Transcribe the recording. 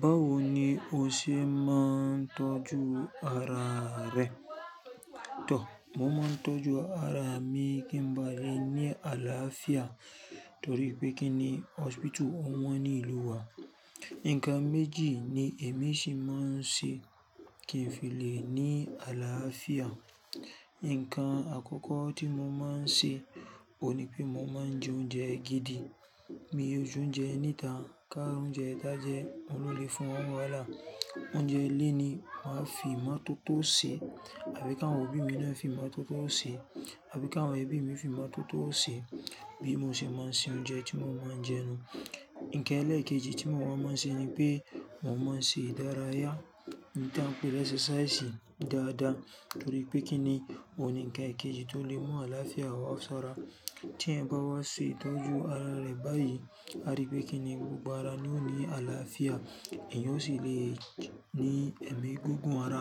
Bawo ni o ṣe máa ń tọ́jú ara rẹ? Tò, mo máa ń tọ́jú ara mi kí n ba lè ní àlàáfíà torí pé kíni hospital ò wọ́n ní ìlú wa. Ǹkan méjì ni èmi ṣì máa ń ṣe kí n fi lè ní àlàáfíà. Ǹkan àkọ́kọ́ tí mo máa ń ṣe ò ní pé mo máa ń jẹ oúnjẹ gidi. Mi ò jẹ oúnjẹ níta, ká oúnjẹ tá jẹ, òun ló lè fún wa n wàhálà. Oúnjẹ léèní wan fi imọ́toto ṣe, àbí ká awon obi mi náà fi imọ́tọ̀tó ṣe, àbí ká ẹ́bí mi fi imọ́tọ̀tó ṣe. Bí mo ṣe máa ń ṣe oúnjẹ tí mo máa ń jẹ nu. Ǹkan ẹlẹ́ẹ̀kejì tí mo máa ń ṣe ni pé mo máa ń ṣe ìdárayá n ta pé ni exercise dáadáa torí pé kíni òun ni ǹkan ẹkẹjì tó lè mú àlàáfíà wá sara. Ti eyan bá wá ṣe ìtọ́jú ara rẹ báyìí, a rí pé kíni gbogbo ara ni o ní àlàáfíà, ẹ̀yan o sì lè ní ẹ̀mí gígùn ara,